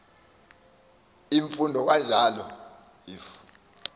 imfundo kanjalo if